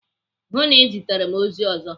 Hụụ na Ị ziteghị m ozi ọzọ.